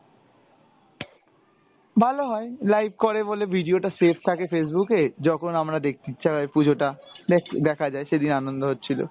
ভালো হয়, live করে বলে video টা save থাকে Facebook এ, যখন আমরা দেখতে ইচ্ছা হয় পুজোটা দেখ দেখা যায় সেদিন আনন্দ হচ্ছিলো।